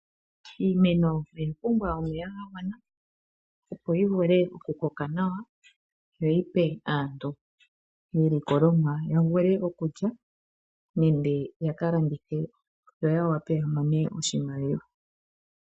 Iimeno oya pumbwa omeya ga gwana opo yi vule oku koka nawa yoyi pe aantu iilikolomwa ya vule oku lya nenge yaka landithe opo yawape yamone oshimaliwa.